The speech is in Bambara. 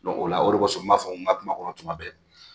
o la o kosɔn n b'a fɔ n ka kuma kɔnɔ tuma bɛɛ